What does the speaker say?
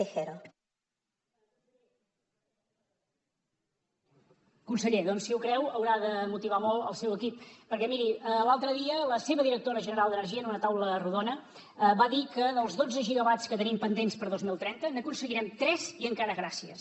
conseller si ho creu haurà de motivar molt el seu equip perquè miri l’altre dia la seva directora general d’energia en una taula rodona va dir que dels dotze gigawatts que tenim pendents per a dos mil trenta n’aconseguirem tres i encara gràcies